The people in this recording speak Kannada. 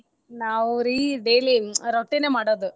ನಾವ ರೀ daily ರೊಟ್ಟಿನ ಮಾಡೋದ.